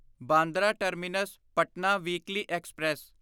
Bandra terminus Patna weekly express